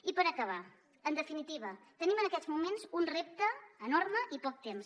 i per acabar en definitiva tenim en aquests moments un repte enorme i poc temps